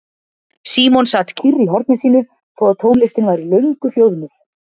Símon sat kyrr í horni sínu þó að tónlistin væri löngu hljóðnuð.